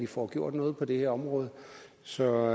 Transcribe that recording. får gjort noget på det her område så